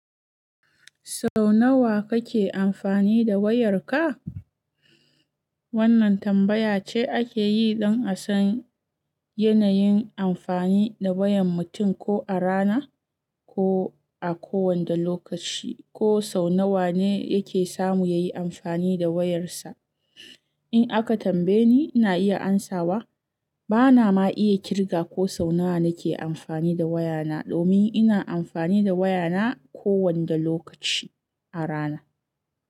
Sau nawa kake amfani da wayarka? Wannan tambaya ce ake yi don a san yanayin amfani da wayan mutum ko a rana ko a kowane lokaci, ko sau nawa ne yake samu ya yi amfani da wayarsa. In aka tambaye ni, ina iya amsawa bana ma iya kirga ko sau nawa nake amfani da wayana domin ina amfani da wayana kowane lokaci a rana.